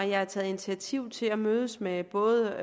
jeg har taget initiativ til at mødes med både